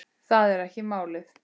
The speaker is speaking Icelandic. Það er ekki málið.